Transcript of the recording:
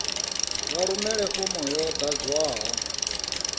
vha rumele fomo yo ḓadzwaho